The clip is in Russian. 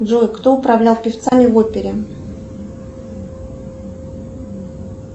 джой кто управлял певцами в опере